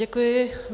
Děkuji.